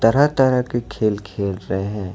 हर तरह के खेल खेल रहे हैं।